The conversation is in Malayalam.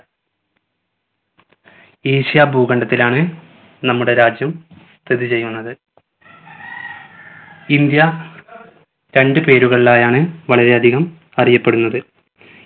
ഏഷ്യ ഭൂഖണ്ഡത്തിലാണ് നമ്മുടെ രാജ്യം സ്ഥിതി ചെയ്യുന്നത് ഇന്ത്യ രണ്ടു പേരുകളിലായാണ് വളരെയധികം അറിയപ്പെടുന്നത്